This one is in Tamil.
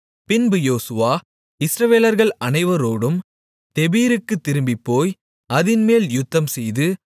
பின்பு யோசுவா இஸ்ரவேலர்கள் அனைவரோடும் தெபீருக்குத் திரும்பிப்போய் அதின்மேல் யுத்தம்செய்து